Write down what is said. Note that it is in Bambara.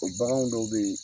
O bagan dɔw bɛ yen